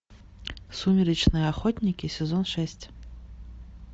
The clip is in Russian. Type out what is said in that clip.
сумеречные охотники сезон шесть